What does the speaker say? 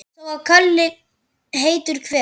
Þó að kali heitur hver